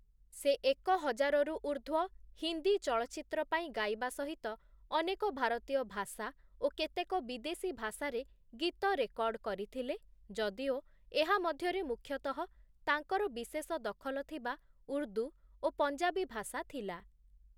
ସେ ଏକ ହଜାରରୁ ଉର୍ଦ୍ଧ୍ୱ ହିନ୍ଦୀ ଚଳଚ୍ଚିତ୍ର ପାଇଁ ଗାଇବା ସହିତ ଅନେକ ଭାରତୀୟ ଭାଷା ଓ କେତେକ ବିଦେଶୀ ଭାଷାରେ ଗୀତ ରେକର୍ଡ଼ କରିଥିଲେ, ଯଦିଓ ଏହା ମଧ୍ୟରେ ମୁଖ୍ୟତଃ ତାଙ୍କର ବିଶେଷ ଦଖଲ ଥିବା ଉର୍ଦ୍ଦୁ ଓ ପଞ୍ଜାବୀ ଭାଷା ଥିଲା ।